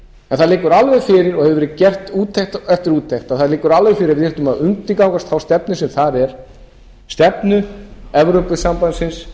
það liggur alveg fyrir og hefur verið gerð úttekt eftir úttekt og það liggur alveg fyrir að við þyrftum að undirgangast þá stefnu sem þar er stefnu evrópusambandsins